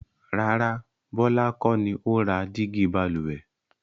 Rárá, Bọlá kọ́ ni ó ra dígí Balùwẹ̀